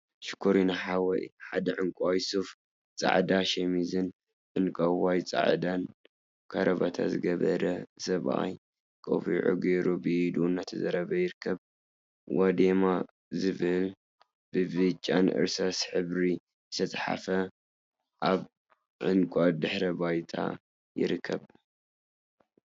ሽኮሪና ሓወይ! ሓደ ዕንቋይ ሱፍ፣ ፃዕዳ ሸሚዝን ዕንቀቅይን ፃዕዳን ከረባታ ዝገበረ ሰብአይ ቆቢዕ ገይሩ ብኢዱ እናተዛረበ ይርከብ፡፡ ዋዳሜ ዝብል ብብጫን እርሳስን ሕብሪ ዝተፀሓፈ አብ ዕንቋ ድሕረ ባይታ ይርከብ፡፡